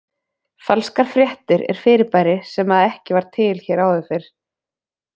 Falskar fréttir er fyrirbæri sem að var ekki til hér áður fyrr.